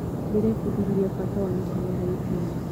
Ndĩrebundithirie bata wa ũnyitanĩri harĩ timu.